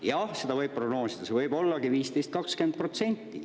Jah, seda võib prognoosida, see võib ollagi 15–20%.